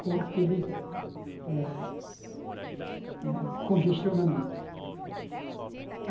com aquele eh eh congestionamento.